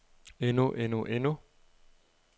endnu endnu endnu